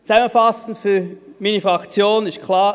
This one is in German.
Zusammenfassend: Für meine Fraktion ist klar: